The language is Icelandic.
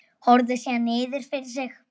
Horfir síðan niður fyrir sig.